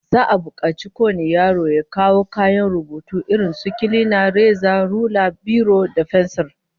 Za'a bukaci kowane yaro ya kawo kayan rubutu irin su kilina, reza, rula, biro da fensir